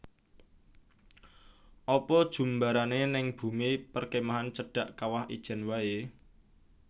Apa jumbarane ning bumi perkemahan cedhak Kawah Ijen wae?